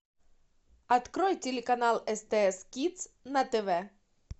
открой телеканал стс кидс на тв